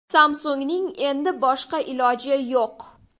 Samsung‘ning endi boshqa iloji yo‘q.